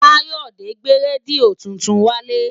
Káyọ̀dé gbé rédíò tuntun wálé